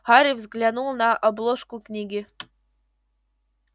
гарри взглянул на обложку книги